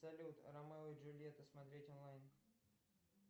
салют ромео и джульетта смотреть онлайн